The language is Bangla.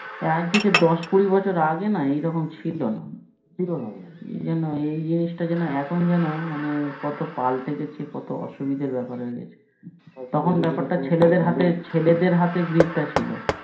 আজ থেকে দশ কুড়ি বছর আগে না এরকম ছিলোনা এ যেন জিনিসটা যেন এখন যেন মানে কত পাল্টে গেছে কত অসুবিধার বেপার হয়ে গেছে তখন বেপারটা ছেলেদের হাতে grip টা ছিল